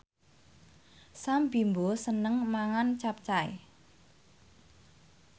Sam Bimbo seneng mangan capcay